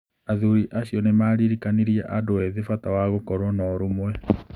Athuri acio nĩ maaririkanirie andũ ethĩ bata wa gũkorũo na ũrũmwe.